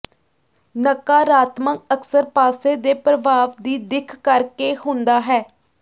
ਨਕਾਰਾਤਮਕ ਅਕਸਰ ਪਾਸੇ ਦੇ ਪ੍ਰਭਾਵ ਦੀ ਦਿੱਖ ਕਰਕੇ ਹੁੰਦਾ ਹੈ